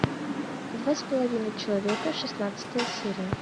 два с половиной человека шестнадцатая серия